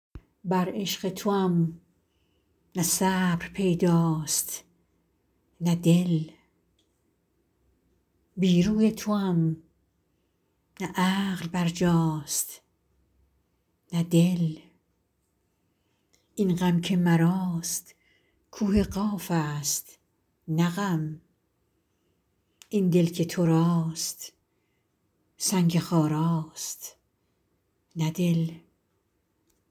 بر عشق توام نه صبر پیداست نه دل بی روی توام نه عقل بر جاست نه دل این غم که مراست کوه قاف است نه غم آن دل که تو راست سنگ خاراست نه دل